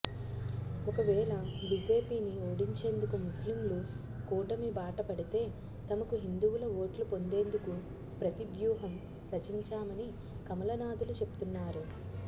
ఒకవేళ బిజెపిని ఓడించేందుకు ముస్లింలు కూటమి బాట పడితే తమకు హిందువుల ఓట్లు పొందేందుకు ప్రతివ్యూహం రచించామని కమలనాథులు చెప్తున్నారు